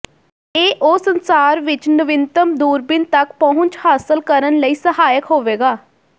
ਇਹ ਉਹ ਸੰਸਾਰ ਵਿੱਚ ਨਵੀਨਤਮ ਦੂਰਬੀਨ ਤੱਕ ਪਹੁੰਚ ਹਾਸਲ ਕਰਨ ਲਈ ਸਹਾਇਕ ਹੋਵੇਗਾ